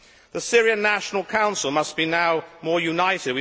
The Syrian National Council must now be more united.